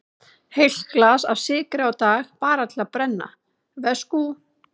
Heilt glas af sykri á dag, bara til að brenna, veskú.